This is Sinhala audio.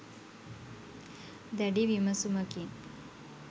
දැඩි විමසුමකින්